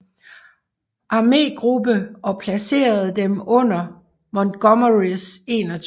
Armegruppe og placerede dem under Montgomerys 21